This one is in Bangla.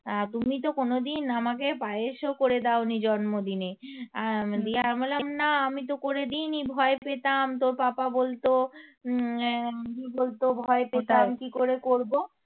তুমি তো কোনোদিন আমাকে পায়েসও করে দাওনি জন্মদিনে দিয়ে আমি বললাম না আমি তো করে দিইনি ভয় পেতাম তো পাপা বলতো কি বলতো ভয় পেতাম কি করে করবো